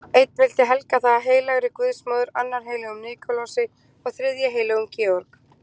Einn vildi helga það heilagri guðsmóður, annar heilögum Nikulási og þriðji heilögum Georg.